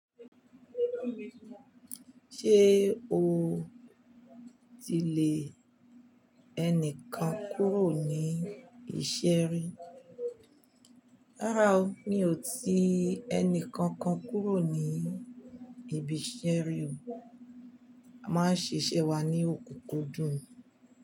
Ṣé o ti lè ẹnìkan kúrò ní ìṣeri? Rárá o, mi ò tí ẹnìkankan kúrò ní ibi ìṣeri o. A máa ń ṣiṣẹ́ wa ní òkúkú dùn.